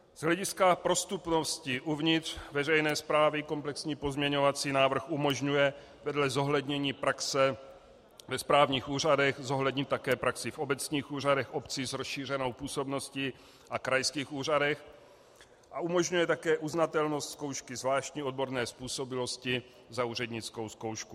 Z hlediska prostupnosti uvnitř veřejné správy komplexní pozměňovací návrh umožňuje vedle zohlednění praxe ve správních úřadech zohlednit také praxi v obecních úřadech obcí s rozšířenou působností a krajských úřadech a umožňuje také uznatelnost zkoušky zvláštní odborné způsobilosti za úřednickou zkoušku.